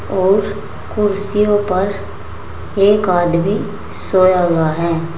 और कुर्सियों पर एक आदमी सोया हुआ है।